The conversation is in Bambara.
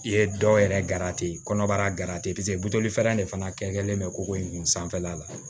I ye dɔ yɛrɛ kɔnɔbara de fana kɛlen bɛ koko in sanfɛla la